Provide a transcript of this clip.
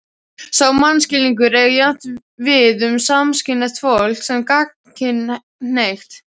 Sá mannskilningur eigi jafnt við um samkynhneigt fólk sem gagnkynhneigt.